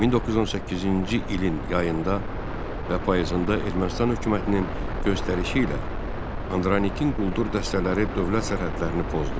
1918-ci ilin yayında və payızında Ermənistan hökumətinin göstərişi ilə Andranikin quldur dəstələri dövlət sərhədlərini pozdu.